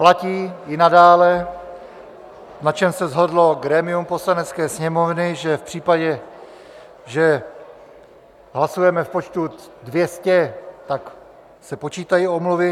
Platí i nadále, na čem se shodlo grémium Poslanecké sněmovny, že v případě, že hlasujeme v počtu 200, tak se počítají omluvy.